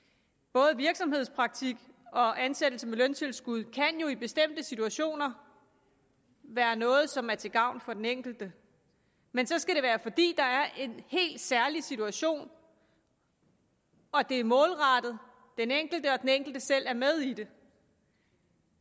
både virksomhedspraktik og ansættelse med løntilskud kan jo i bestemte situationer være noget som er til gavn for den enkelte men så skal det være fordi der er en helt særlig situation og at det er målrettet den enkelte og at den enkelte selv er med i det